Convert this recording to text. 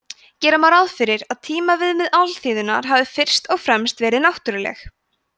gera má ráð fyrir að tímaviðmið alþýðunnar hafi fyrst og fremst verið náttúruleg